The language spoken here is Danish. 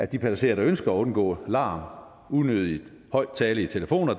de passagerer der ønsker at undgå larm unødig høj tale i telefoner